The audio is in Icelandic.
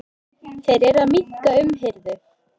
Þeir eru að minnka umhirðu.